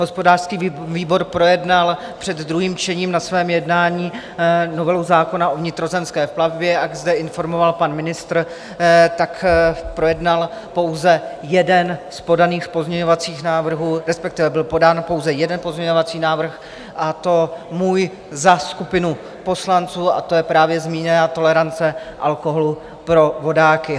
Hospodářský výbor projednal před druhým čtením na svém jednání novelu zákona o vnitrozemské plavbě, jak zde informoval pan ministr, tak projednal pouze jeden z podaných pozměňovacích návrhů, respektive byl podán pouze jeden pozměňovací návrh, a to můj za skupinu poslanců, a to je právě zmíněná tolerance alkoholu pro vodáky.